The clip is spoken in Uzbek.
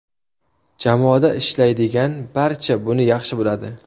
Jamoada ishlaydigan barcha buni yaxshi biladi.